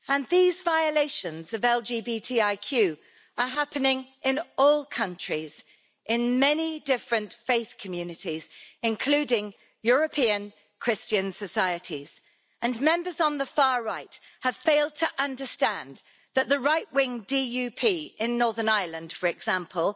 These violations of LGBTIQ are happening in all countries, in many different faith communities, including European Christian societies and Members on the far right have failed to understand that the right-wing DUP in Northern Ireland, for example,